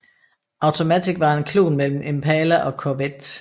Automatic var en klon mellem Impala og Corvette